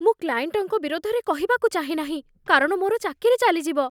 ମୁଁ କ୍ଲାଏଣ୍ଟଙ୍କ ବିରୋଧରେ କହିବାକୁ ଚାହେଁ ନାହିଁ କାରଣ ମୋର ଚାକିରି ଚାଲିଯିବ।